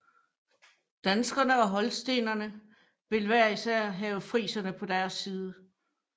Danskerne og holstenerne ville hver især have friserne på deres side